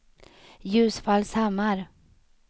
Ljusfallshammar